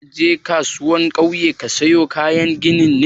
Zaka je kasuwar kauye ka sayo kayan ginin ne?